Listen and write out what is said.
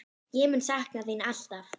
Ég mun sakna þín alltaf.